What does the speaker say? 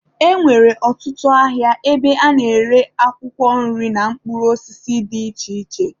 E nwere ọtụtụ ahịa ebe a na-ere akwụkwọ nri na mkpụrụ osisi dị iche iche.